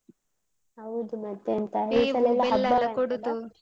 ಹೌದು ಮತ್ತೆಂತ.